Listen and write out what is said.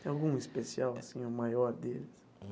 Tem algum especial, assim, o maior deles?